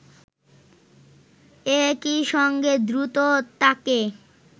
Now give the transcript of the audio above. একই সঙ্গে দ্রুত তাকে